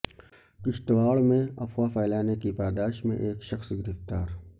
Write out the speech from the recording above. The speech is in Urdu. کشتواڑ میں افواہ پھیلانے کی پاداش میں ایک شخص گرفتار